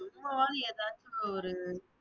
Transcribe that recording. சும்மாவது ஏதாச்சுல ஒரு